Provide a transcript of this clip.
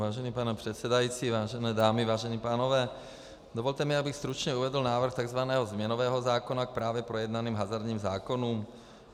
Vážený pane předsedající, vážené dámy, vážení pánové, dovolte mi, abych stručně uvedl návrh tzv. změnového zákona k právě projednaným hazardním zákonům.